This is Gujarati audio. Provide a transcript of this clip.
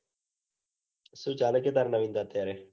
સુ ચાલે કે તારે નવીનતા અત્યારે.